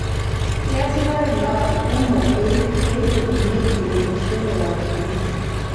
Keesitai mbaa kumok peilepunyieki enkishon e wakimbisi